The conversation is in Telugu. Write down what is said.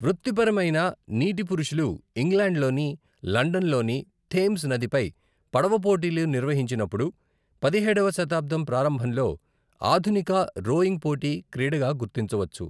వృత్తిపరమైన నీటి పురుషులు ఇంగ్లాండ్లోని లండన్లోని థేమ్స్ నదిపై పడవ పోటీలు నిర్వహించినప్పుడు, పదిహేడవ శతాబ్దం ప్రారంభంలో ఆధునిక రోయింగ్ పోటీ క్రీడగా గుర్తించవచ్చు.